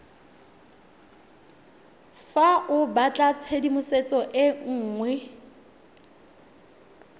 fa o batlatshedimosetso e nngwe